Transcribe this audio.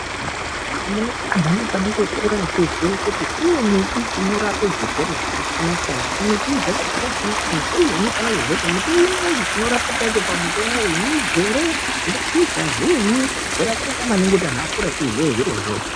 Muno anhu anfane kukura echiziya kuti kune miti inorape zvirwere zvakasiyana siyana. Miti dzacho dzakasiyana siyana uye unofane kuziya kuti muti unoyu chinorapa chakhona midzi ere, mashizha zviinyi zvakakosha maningi kuti anhu akure echiziye zvirozvo.